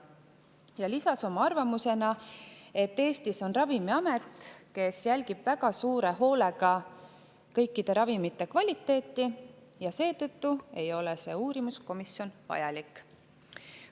Ta lisas oma arvamusena, et Eestis on Ravimiamet, kes jälgib väga suure hoolega kõikide ravimite kvaliteeti, ja seetõttu ei ole see uurimiskomisjon vajalik.